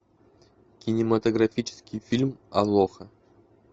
кинематографический фильм алоха